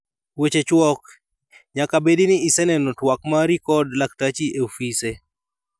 Weche chuok: Nyaka bedi ni iseneno twak mari kod laktachi e ofise.